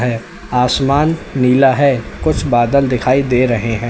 आसमान नीला है कुछ बादल दिखाई दे रहे है।